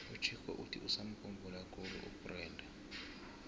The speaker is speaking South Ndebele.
uchicco uthi usamukhumbula khulu ubrenda